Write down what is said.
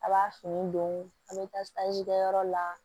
A b'a fini don a bɛ taa kɛ yɔrɔ la